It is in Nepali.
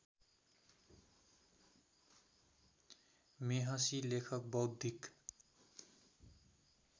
मेहसि लेखक बौद्धिक